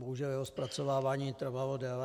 Bohužel jeho zpracovávání trvalo déle.